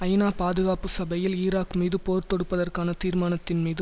ஐநா பாதுகாப்பு சபையில் ஈராக் மீது போர் தொடுப்பதற்கான தீர்மானத்தின் மீது